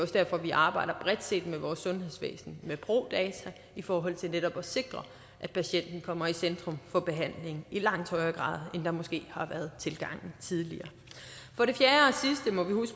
derfor vi arbejder bredt set med vores sundhedsvæsen med pro data i forhold til netop at sikre at patienten kommer i centrum for behandlingen i langt højere grad end tilgangen måske har været tidligere for det fjerde